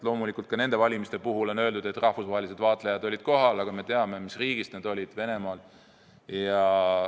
Loomulikult ka nende valimiste puhul on öeldud, et rahvusvahelised vaatlejad olid kohal, aga me teame, mis riigist nad olid: Venemaalt.